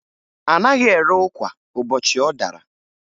A naghị ere ụkwa ụbọchị ọ dara